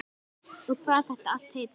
Og hvað þetta allt heitir.